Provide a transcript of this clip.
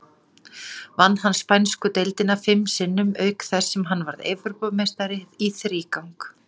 Vann hann spænsku deildina fim sinnum, auk þess sem hann varð Evrópumeistari í þrígang.